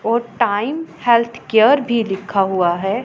और time health care भी लिखा हुआ है।